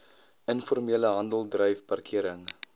informele handeldryf parkering